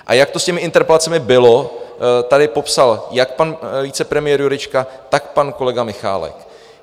A jak to s těmi interpelacemi bylo, tady popsal jak pan vicepremiér Jurečka, tak pan kolega Michálek.